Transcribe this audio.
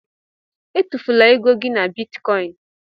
Étufula égo gị na bịtkọin